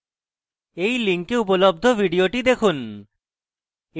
এই link উপলব্ধ video দেখুন